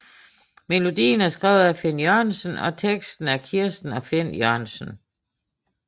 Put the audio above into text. Melodien er skrevet af Finn Jørgensen og teksten er af Kirsten og Finn Jørgensen